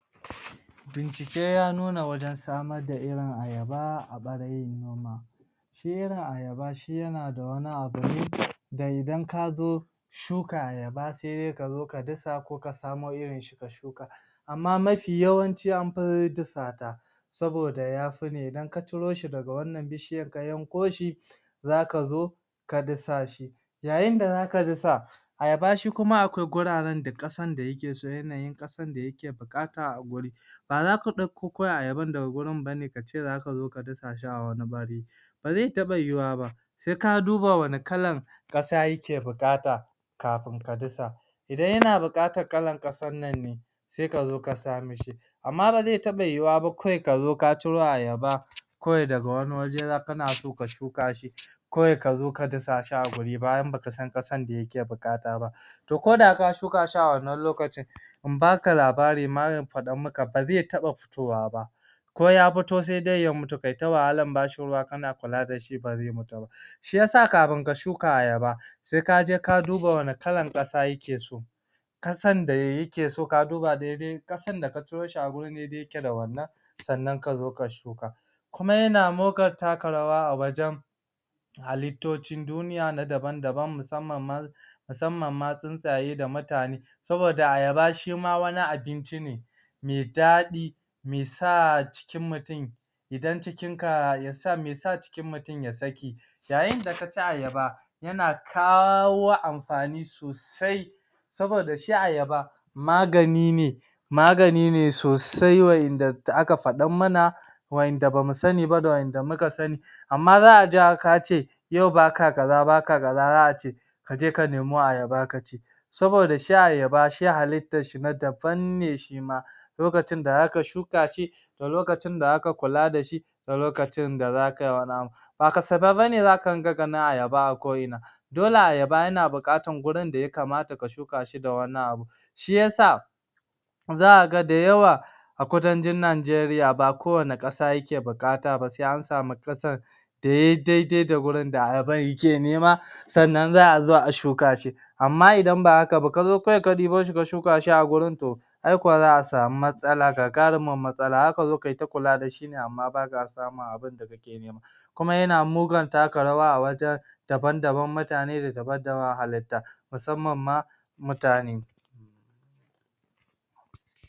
Bincike ya nuna wajan samar da Irin Ayaba a ɓarayin noma shi Irin Ayaba shi yana da wani abu ne da idan kazo shuka Ayaba sai dai kazo ka dasa ko ka samo Irin shi ka shuka amma mafi yawanci amfi dasa ta saboda yafi ne idan ka ciro shi daga wannan bishiyar ka yanko shi zaka zo ka dasa shi yayin da zaka dasa Ayaba shi kuma akwai wuraren da ƙasar da yake so yanayin ƙasar da yake buƙata a wuri ba zaka ɗauko kawai Ayabar daga wurin bane kace zaka zo ka dasa shi ne a wani wuri ba zai taɓa yiyuwa ba sai ka duba wane kalan ƙasa yake buƙata kafin ka dasa idan yana bukaƙar kalar ƙasan nan ne sai kazo kasa mishi amma ba zai taɓa yiyuwa ba kawai ka zo ciro Ayaba kawai daga wani waje kana so ka shuka shi kawai kazo ka dasa shi a wuri bayan baka san ƙasar da yake buƙata ba ba to koda ka shuka shi a wannan lokacin in baka labari ko in faɗar maka ba zai taɓa fitowa ba ko ya fito sai dai ya mutu kai ta wahalar bashi ruwa kana kula dashi ba zai fita ba shiyasa kafin ka shuka Ayaba sai kaje ka duba wane kallar ƙasa yake so ƙasan da ya ke so ka duba daidai ƙasan da ka ciro shi a wuri daidai yake da wannan sannan kazo ka shuka kuma yana mugun taka rawa a wajan halituci duniya na daban daban musamman ma musamman ma tsintsaye da mutane saboda Ayaba shima wani abinci ne mai daɗi mai sa cikin mutum idan cikin ka yasa mesa cikin mutum ya saki Yayin da kaci Ayaba yana kawo amfani sosai saboda shi Ayaba magani ne magani ne sosai wa'yanda da aka faɗar mana wa'yanda bamu sani ba da wanda muka sani amma za'a ja kace yau baka kaza daka kaza za'a ce kaje ka nemo Ayaba ka ci saboda shi Ayaba shi halittar shi na daban ne shima lokacin da zaka shuka shi da lokacin da zaka kula dashi da lokacin da zaka yi wani abu ba kasafai bane zaka dunga gani Ayaba bane a ko ina dole Ayaba yana buƙatar wurin da ya kamata ta shuka shi dan wannan abun shiyasa zaka ga da yawa a kudancin Nageriya ba kowanne ƙasa yake buƙata ba sa an sani ƙasar da yayi daidai da wurin da Ayabar yake nema sannan za'a zo a shuka shi amma idan ba haka ba kazo kawai ka ɗibo shi shuka shi a wurin ai kuwa za'a sami matsala gagarimar matsala zaka zo kai ta kula dashi ne amma baka samun abinda kake nema kuma yana mugun taka rawa a wajan daban daban mutane ne daban daban halitta musamma ma mutane